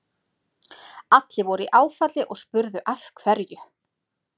Allir voru í áfalli og spurðu af hverju.